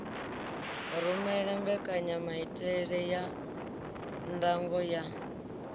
rumele mbekanyanamaitele ya ndango ya